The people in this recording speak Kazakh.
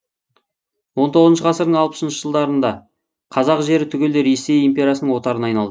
он тоғызыншы ғасырдың алпысыншы жылдарында қазақ жері түгелдей ресей империясының отарына айналды